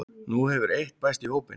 Nú hefur eitt bæst í hópinn